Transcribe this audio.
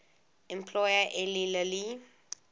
employer eli lilly